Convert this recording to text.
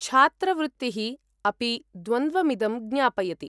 छात्रवृत्तिः अपि द्वन्द्वमिदं ज्ञापयति।